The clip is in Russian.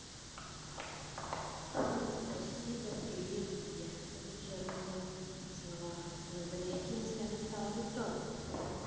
спасибо привет и я тебя тоже обняла поцеловала но за мягкие места не стала бы трогать